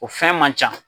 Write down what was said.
O fɛn man ca